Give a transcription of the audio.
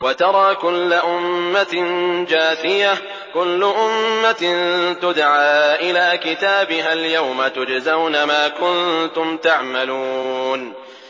وَتَرَىٰ كُلَّ أُمَّةٍ جَاثِيَةً ۚ كُلُّ أُمَّةٍ تُدْعَىٰ إِلَىٰ كِتَابِهَا الْيَوْمَ تُجْزَوْنَ مَا كُنتُمْ تَعْمَلُونَ